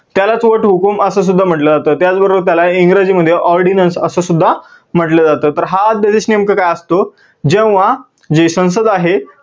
त्यालाच वट हुकुम असं सुद्धा म्हटलं जातं, त्याचबरोबर त्याला इंग्रजी मध्ये ordinance असं सुद्धा म्हटलं जात. हा अध्यादेश नेमका काय असतो जेव्हा जे संसद आहे